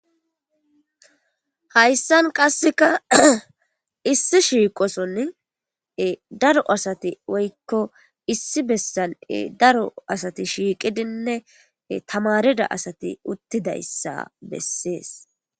Hayssan qasseka issi shiiqoson daro asati woykko issi bessal daro asati shiiqidinne tamarida asati uttidayssa bessees